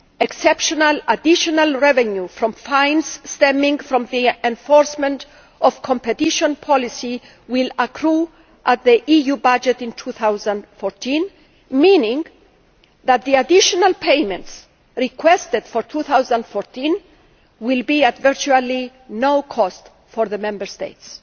Exceptional additional revenue from fines stemming from the enforcement of competition policy will accrue on the EU budget in 2014, meaning that the additional payments requested for 2014 will be at virtually no cost to the Member States.